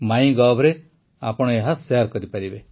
ମାଇଁଗଭ୍ରେ ଆପଣ ଏହା ଶେୟାର କରିପାରିବେ